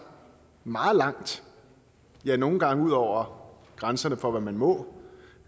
meget langt ja nogle gange ud over grænserne for hvad man må